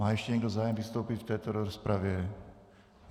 Má ještě někdo zájem vystoupit v této rozpravě?